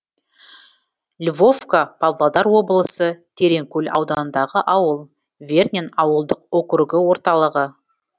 львовка павлодар облысы тереңкөл ауданындағы ауыл вернен ауылдық округі орталығы